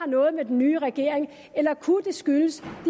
noget med den nye regering at eller kunne det skyldes de